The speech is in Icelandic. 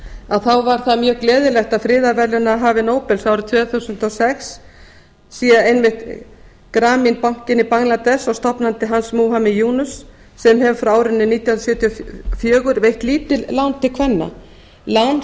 að þá var það mjög gleðilegt að friðarverðlaunahafi nóbels árið tvö þúsund og sex sé einmitt grameen bankinn í bangladess og stofnandi hans muhammad yunus sem hefur frá árinu nítján hundruð sjötíu og fjögur veitt lítil lán til kvenna lán